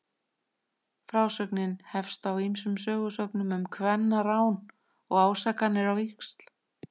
Frásögnin hefst á ýmsum sögusögnum um kvennarán og ásakanir á víxl.